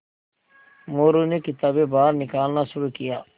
मोरू ने किताबें बाहर निकालना शुरू किया